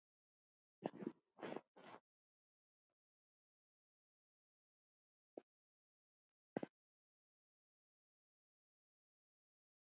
Hann flaut varla.